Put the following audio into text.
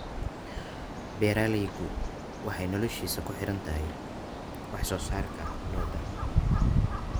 Beeralaygu waxa uu noloshiisu ku xidhan tahay wax soo saarka lo’da.